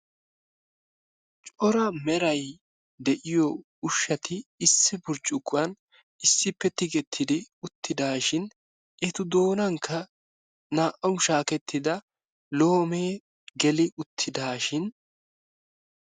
Cora meray de'iyo ushshati issi burccukkuwan issippe tigettidi uttidaashin, eta doonankka naa''awu shaakettida loomee geli uttidaashin.